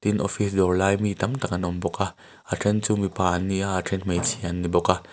tin office dawrlai mi tam tak an awm bawk a a then chu mipa anni a a then hmeichhia anni bawk a.